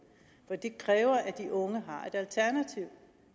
for det kræver at de unge